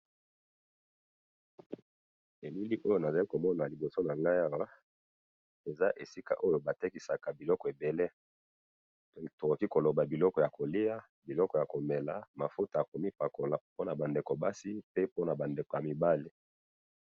bilili oyo nazali komona na liboso nangai awa, eza esika oyo batekisaka biloko ebele, toloki koloba biloko ya kolya, biloko ya komela, mafuta yakomi pakola pe naba ndeko ya basi, pe naba ndeko ya mibale